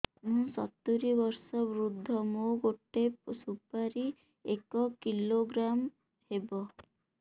ମୁଁ ସତୂରୀ ବର୍ଷ ବୃଦ୍ଧ ମୋ ଗୋଟେ ସୁପାରି ଏକ କିଲୋଗ୍ରାମ ହେବ